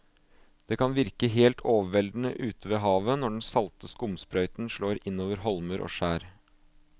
Det kan virke helt overveldende ute ved havet når den salte skumsprøyten slår innover holmer og skjær.